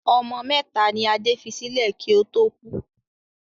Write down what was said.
Ọmọ mẹ́ta ni Adé fi sílẹ̀ kí ó tó kú.